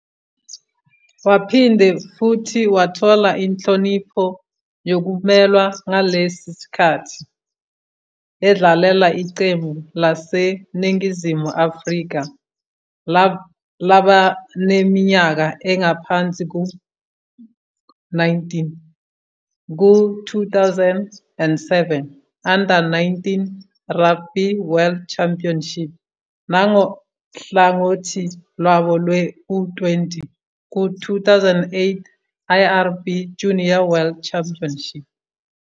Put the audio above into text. Waphinde futhi wathola inhlonipho yokumelwa ngalesi sikhathi, edlalela iqembu laseNingizimu Afrika labaneminyaka engaphansi kwengu-19 ku- 2007 Under 19 Rugby World Championship nangohlangothi lwabo lwe-U20 ku-2008 IRB Junior World Championship.